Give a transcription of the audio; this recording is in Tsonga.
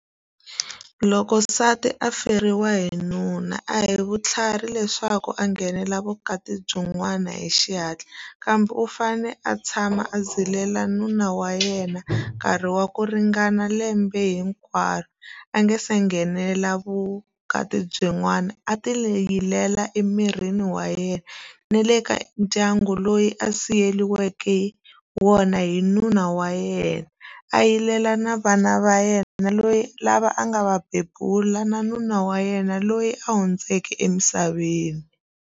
Loko nsati a feriwa hi nuna a hi vutlhari leswaku a nghenela vukati byin'wana hi xihatla kambe u fane a tshama a zilela nuna wa yena nkarhi wa ku ringana lembe hinkwaro a nge se nghenela vukati byin'wana a ti layilela emirini wa yena na le ka ndyangu loyi a siyeriweke wona hi nuna wa yena a yilela na vana va yena loyi lava a nga va bebula na nuna wa yena loyi a hundzeke emisaveni.